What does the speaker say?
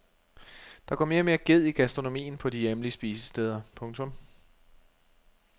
Der går mere og mere ged i gastronomien på de hjemlige spisesteder. punktum